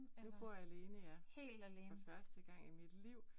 Nu bor jeg alene ja. For første gang i mit liv